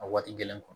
A waati gɛlɛn